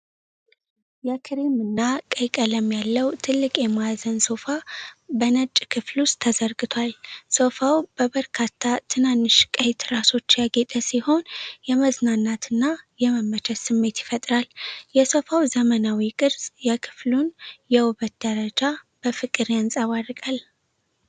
የክሬም እና ቀይ ቀለም ያለው ትልቅ የማዕዘን ሶፋ በነጭ ክፍል ውስጥ ተዘርግቷል። ሶፋው በበርካታ ትናንሽ ቀይ ትራሶች ያጌጠ ሲሆን፣ የመዝናናትና የመመቸት ስሜት ይፈጥራል። የሶፋው ዘመናዊ ቅርፅ የክፍሉን የውበት ደረጃ በፍቅር ያንጸባርቃል።